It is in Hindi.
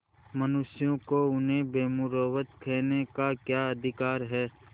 मनुष्यों को उन्हें बेमुरौवत कहने का क्या अधिकार है